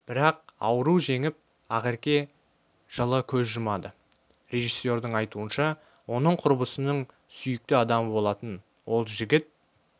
бірақ ауру жеңіп ақерке жылы көз жұмады режиссердің айтуынша оның құрбысының сүйікті адамы болатын ол жігіт